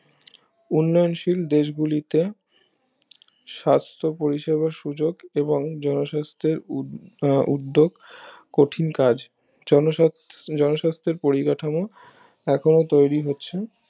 উন্নয়নশীল দেশগুলিতে সাস্থ পরিষেবার সুযোক এবং জনস্বাস্থ্যের উদ্যোগ আহ উদ্যোগ কঠিন কাজ জনস্বাস্থ্যের পরিকাঠামো এখনো তৈরি হচ্ছে